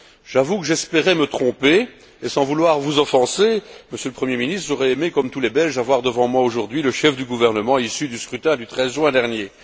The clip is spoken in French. J'avoue que j'espérais me tromper et sans vouloir vous offenser, Monsieur le Premier ministre, j'aurais aimé comme tous les Belges avoir devant moi aujourd'hui le chef du gouvernement issu du scrutin du 13 juin dernier.